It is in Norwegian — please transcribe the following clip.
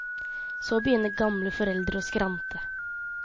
Så begynner gamle foreldre å skrante.